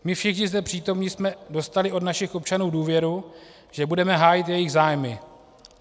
My všichni zde přítomní jsme dostali od našich občanů důvěru, že budeme hájit jejich zájmy.